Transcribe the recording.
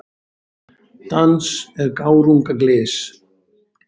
Dans er gárunga glys.